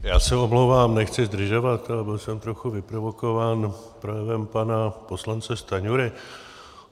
Já se omlouvám, nechci zdržovat, ale byl jsem trochu vyprovokován projevem pana poslance Stanjury.